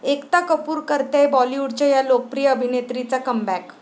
एकता कपूर करतेय बाॅलिवूडच्या 'या' लोकप्रिय अभिनेत्रीचा कमबॅक